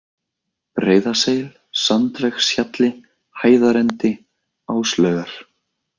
Breiðaseil, Sandvegshjalli, Hæðarendi, Áslaugar